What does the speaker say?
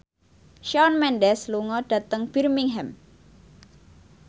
Shawn Mendes lunga dhateng Birmingham